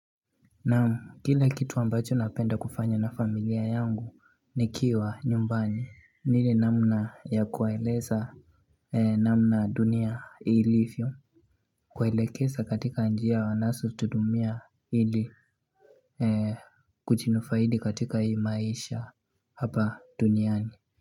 Naam kile kitu ambacho napenda kufanya na familia yangu nikiwa nyumbani ni ile namna ya kuwaeleza namna dunia ilivyo kuwaelekesa katika njia wanaso tudumia ili kuchinufaidi katika hii maisha hapa duniani.